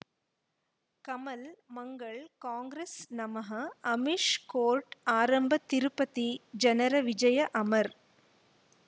Kamal Mangal Congress ನಮಃ Amish court ಆರಂಭ ತಿರುಪತಿ ಜನರ ವಿಜಯ ಅಮರ್